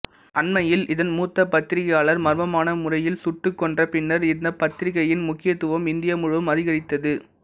அண்மையில் இதன் மூத்த பத்திரிக்கையாளர் மர்மமான முறையில் சுட்டுக் கொன்றபின்னர் இந்தப் பத்திரிக்கையின் முக்கியத்துவம் இந்தியா முழுவதும் அதிகரித்தது